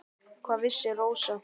Hvað vissi Rósa.